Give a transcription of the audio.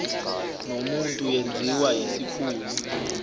nomuntu yenziwa yisikhulu